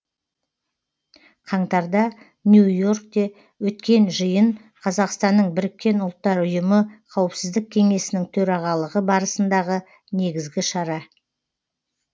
қаңтарда нью и оркте өткен жиын қазақстанның біріккен ұлттар ұйымы қауіпсіздік кеңесінің төрағалығы барысындағы негізгі шара